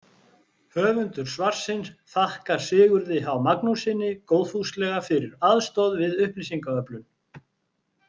Höfundur svarsins þakkar Sigurði H Magnússyni góðfúslega fyrir aðstoð við upplýsingaöflun.